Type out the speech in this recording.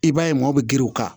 I b'a ye mɔɔw bɛ girin u kan